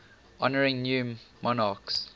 honouring new monarchs